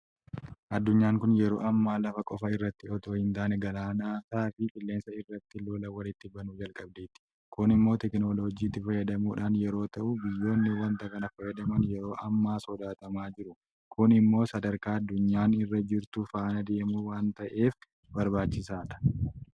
Addunyaan kun yeroo ammaa lafa qofa irratti itoo hintaane galaanotaafi Qilleensa irrattis lola walitti banuu jalqabdeetti. Kun immoo teekinooloojiitti fayyadamuudhaan yeroo ta'u biyyoonni waanta kana fayyadaman yeroo ammaa sodaatamaa jiru. Kun immoo sadarkaa addunyaan irra jirtu faana adeemuu waanta ta'eef barbaachisaadha.